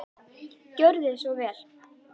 Gjörðu svo vel.